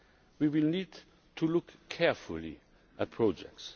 We will need to look carefully at projects.